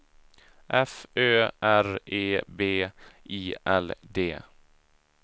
F Ö R E B I L D